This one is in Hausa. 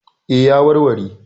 E, ya warware?